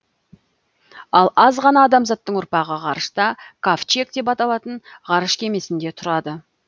ал аз ғана адамзаттың ұрпағы ғарышта кавчег деп аталатын ғарыш кемесінде тұрады